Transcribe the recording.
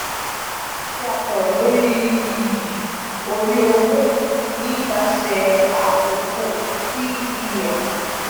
e jeki a soro lori iyi ori owo nipase akoko tvm.